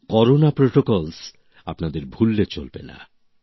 corona বিধি আপনাদের ভুললে চলবেন না